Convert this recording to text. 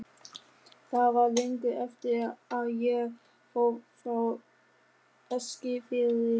Það var löngu eftir að ég fór frá Eskifirði.